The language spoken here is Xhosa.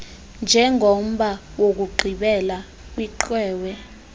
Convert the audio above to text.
njengomba wokugqibela kwiqwewe